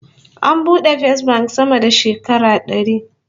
An bude Fesbank sama da shekara dari